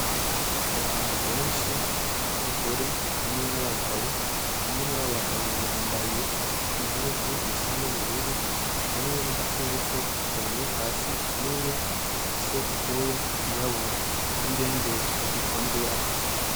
Abantu benshi b'abagore hamwe n'abagabo umwe yambaye impuzu isa n'ubururu, n'igikoko kiryamye hasi kinini gifise ubwoya bw'irabura, n'ingendeshwa iruhande yabo.